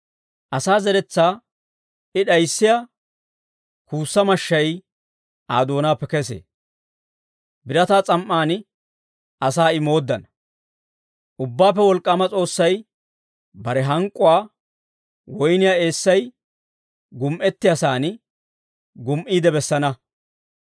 Asaa zeretsaa I d'ayissiyaa kuussa mashshay Aa doonaappe kesee. Birataa s'am"aan asaa I mooddana. Ubbaappe Wolk'k'aama S'oossay bare hank'k'uwaa woyniyaa eessay gumi"ettiyaasan, gumi"iide bessana.